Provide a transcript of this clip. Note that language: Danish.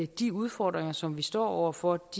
de udfordringer som vi står over for